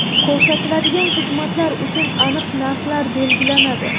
Ko‘rsatiladigan xizmatlar uchun aniq narxlar belgilanadi.